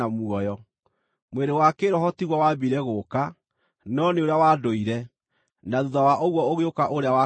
Mwĩrĩ wa kĩĩroho tiguo waambire gũũka, no nĩ ũrĩa wa ndũire, na thuutha wa ũguo ũgĩũka ũrĩa wa kĩĩroho.